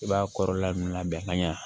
I b'a kɔrɔla mun labɛn ka ɲɛ